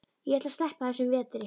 Ég ætla að sleppa þessum vetri.